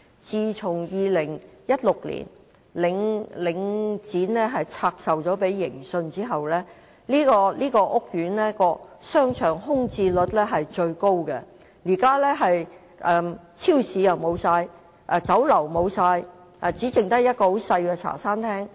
自從2016年領展把商場拆售給盈信後，這個屋苑的商場空置率非常高，現在商場沒有超級市場、沒有酒樓，只剩下一間小型茶餐廳。